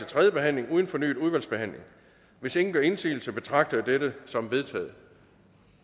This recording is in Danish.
tredje behandling uden fornyet udvalgsbehandling hvis ingen gør indsigelse betragter jeg dette som vedtaget